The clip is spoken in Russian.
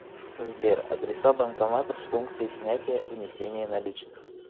сбер адреса банкоматов с функцией снятия внесения наличных